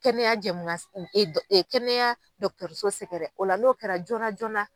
Kɛnɛya jɛmunkan kɛnɛya so sɛgɛrɛ o la n'o kɛra joona joona